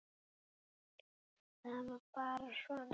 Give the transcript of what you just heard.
Það var bara svona.